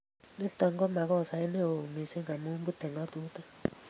Nitok ko makosait ne yoo mising' amu pute ngatutik